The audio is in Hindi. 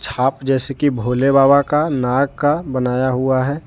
आप जैसे की भोले बाबा का नाग का बनाया हुआ है।